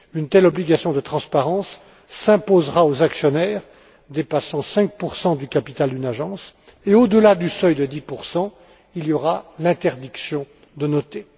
Une telle obligation de transparence s'imposera aux actionnaires dépassant 5 du capital d'une agence et, au delà du seuil de 10 il y aura interdiction de noter.